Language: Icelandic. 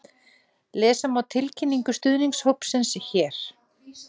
Lesa má tilkynningu stuðningshópsins hér